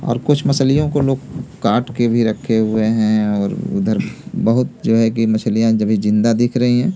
और कुछ मछलियों को लोग काट के भी रखे हुए हैं और उधर बहुत जो है की मछलियां जभी जिंदा दिख रही हैं।